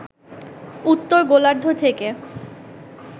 উত্তর গোলার্ধ থেকে